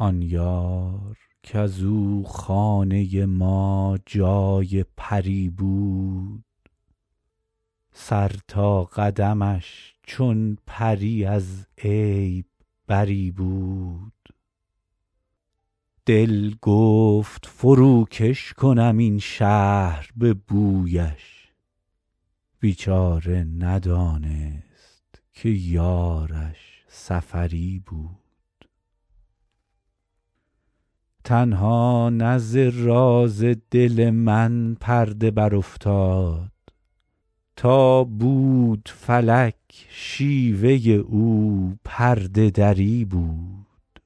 آن یار کز او خانه ما جای پری بود سر تا قدمش چون پری از عیب بری بود دل گفت فروکش کنم این شهر به بویش بیچاره ندانست که یارش سفری بود تنها نه ز راز دل من پرده برافتاد تا بود فلک شیوه او پرده دری بود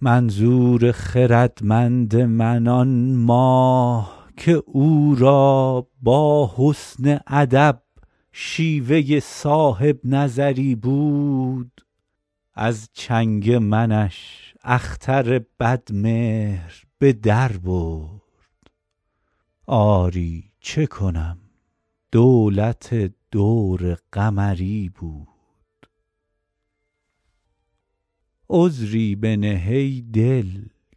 منظور خردمند من آن ماه که او را با حسن ادب شیوه صاحب نظری بود از چنگ منش اختر بدمهر به در برد آری چه کنم دولت دور قمری بود عذری بنه ای دل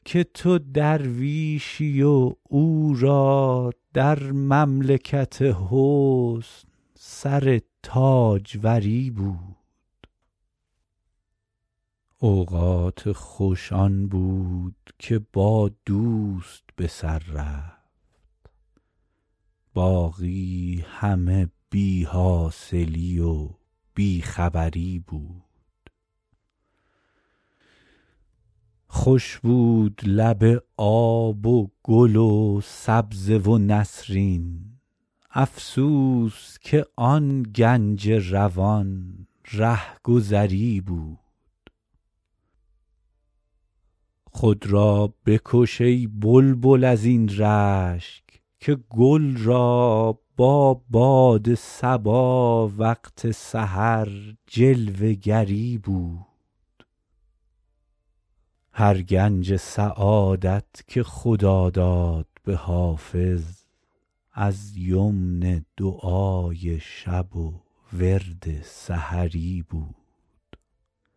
که تو درویشی و او را در مملکت حسن سر تاجوری بود اوقات خوش آن بود که با دوست به سر رفت باقی همه بی حاصلی و بی خبری بود خوش بود لب آب و گل و سبزه و نسرین افسوس که آن گنج روان رهگذری بود خود را بکش ای بلبل از این رشک که گل را با باد صبا وقت سحر جلوه گری بود هر گنج سعادت که خدا داد به حافظ از یمن دعای شب و ورد سحری بود